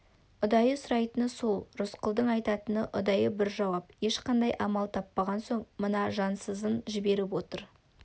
ұдайы сұрайтыны сол рысқұлдың айтатыны ұдайы бір жауап ешқандай амал таппаған соң мына жансызын жіберіп отыр